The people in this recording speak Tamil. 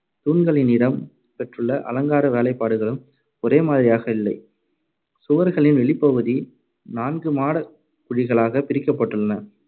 தூண்களின் இடம் பெற்றுள்ள அலங்கார வேலைப்பாடுகளும் ஒரே மாதிரியாக இல்லை. சுவர்களின் வெளிப்பகுதி நான்கு மாடக் குழிகளாகப் பிரிக்கப்பட்டுள்ளன.